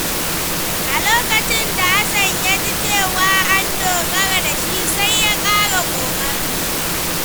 A lokacin da Hassan ya ji cewa an dogara da shi, sai ya ƙara ƙoƙari.